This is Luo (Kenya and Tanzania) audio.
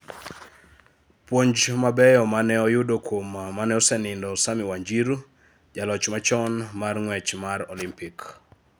Puonj mabeyo mane oyudo kuom mane osenindo Sammy Wanjiru, jaloch machon mar ng'wech mar Olympic.